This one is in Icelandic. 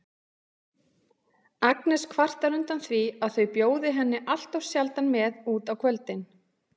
Agnes kvartar undan því að þau bjóði henni alltof sjaldan með út á kvöldin.